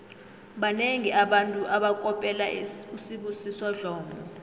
banengi abantu abakopela usibusiso dlomo